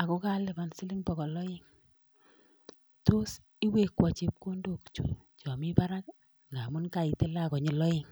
ago kaluban siling bogol aeng. Tos iwekwan chepkondok chu chami barak ii? Ngamun kaitilan konyil aeng.